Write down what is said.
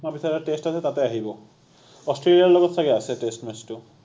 তাৰ পিছত এটা টেষ্ট আছে তাতে আহিব, অষ্ট্ৰেলিয়াৰ লগত চাগে আছে টেষ্ট match টো